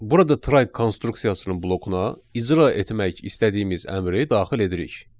Burada try konstruksiyasına blokuna icra etmək istədiyimiz əmri daxil edirik.